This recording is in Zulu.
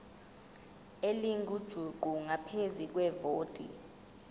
elingujuqu ngaphezu kwevoti